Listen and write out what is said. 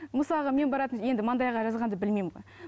мысалға мен баратын енді маңдайға жазғанды білмеймін ғой